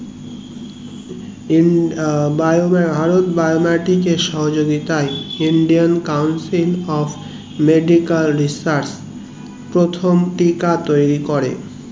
সহযোগিতায় indian council of medical research প্রথম টিকা তৈরী করে